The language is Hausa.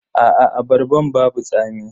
Aa abarban babu tsami.